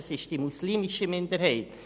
Es ist die muslimische Minderheit.